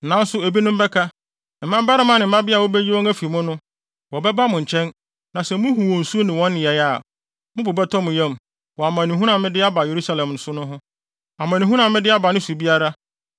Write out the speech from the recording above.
Nanso ebinom bɛka, mmabarima ne mmabea a wobeyi wɔn afi mu no. Wɔbɛba mo nkyɛn na sɛ muhu wɔn su ne wɔn nneyɛe a, mo bo bɛtɔ mo yam wɔ amanehunu a me de aba Yerusalem so no ho, amanehunu a mede aba ne so biara.